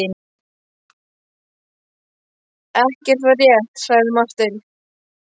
Ekki er það rétt, sagði Marteinn.